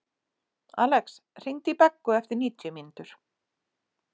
Alex, hringdu í Beggu eftir níutíu mínútur.